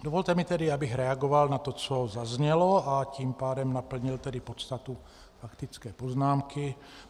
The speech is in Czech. Dovolte mi tedy, abych reagoval na to, co zaznělo, a tím pádem naplnil tedy podstatu faktické poznámky.